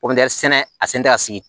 sɛnɛ a sen tɛ ka sigi